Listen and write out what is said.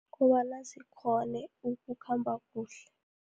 Kobana zikghone, ukukhamba kuhle.